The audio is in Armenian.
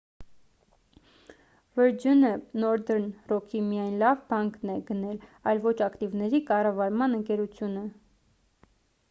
վըրջընը նորդըրն րոքի միայն «լավ բանկ»-ն է գնել այլ ոչ ակտիվների կառավարման ընկերությունը: